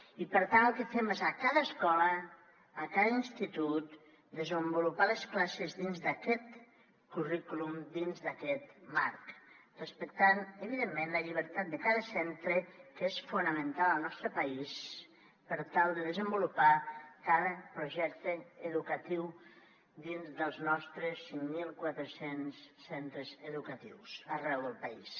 i per tant el que fem és a cada escola a cada institut desenvolupar les classes dins d’aquest currículum dins d’aquest marc respectant evidentment la llibertat de cada centre que és fonamental al nostre país per tal de desenvolupar cada projecte educatiu dins dels nostres cinc mil quatre cents centres educatius arreu del país